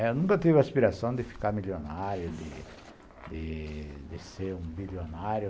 Eu nunca tive a aspiração de ficar milionário, de de ser um bilionário.